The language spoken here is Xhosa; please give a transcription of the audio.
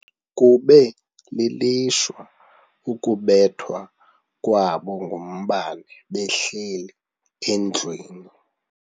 Kube lilishwa ukubethwa kwabo ngumbane behleli endlwini.